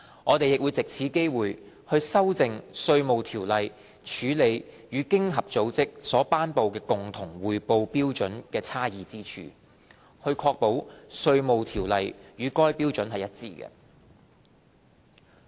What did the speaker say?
我們亦藉此機會，修訂《稅務條例》處理與經合組織所頒布的共同匯報標準差異之處，確保《稅務條例》與該標準一致。